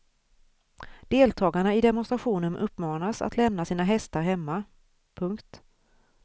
Deltagarna i demonstrationen uppmanas att lämna sina hästar hemma. punkt